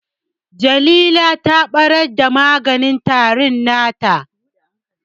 Jalila ta ɓarar da maganin tarin nata